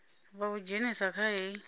vha u dzhenise kha hei